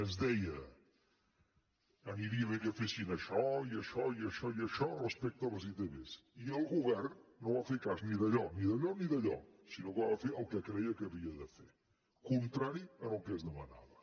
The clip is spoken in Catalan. es deia aniria bé que fessin això i això i això respecte a les itv i el govern no va fer cas ni d’allò ni d’allò ni d’allò sinó que va fer el que creia que havia de fer contrari al que es demanava